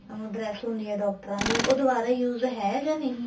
ਉਹ dress ਹੁੰਦੀ ਆ ਡਾਕਟਰਾਂ ਦੀ ਉਹ ਦਵਾਰਾ use ਹੈ ਜਾਂ ਨਹੀਂ ਹੈ